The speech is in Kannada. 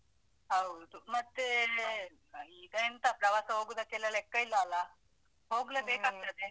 ಹೌದು. ಮತ್ತೆ ಅಹ್ ಈಗ ಎಂತ ಪ್ರವಾಸ ಹೋಗುದಕ್ಕೆಲ್ಲ ಲೆಕ್ಕ ಇಲ್ಲ ಅಲಾ. ಹೋಗ್ಲೇಬೇಕಾಗತ್ತದೆ.